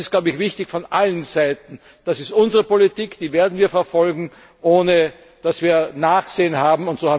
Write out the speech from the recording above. Das ist wichtig von allen Seiten. Das ist unsere Politik, die werden wir verfolgen, ohne dass wir Nachsehen haben.